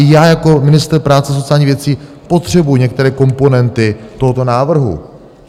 I já jako ministr práce a sociálních věcí potřebuji některé komponenty tohoto návrhu.